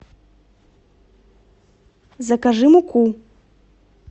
закажи муку